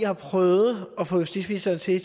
har prøvet at få justitsministeren til og